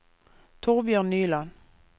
Torbjørn Nyland